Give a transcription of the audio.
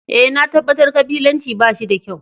Eh, na tabatar kabilanci ba shi da kyau.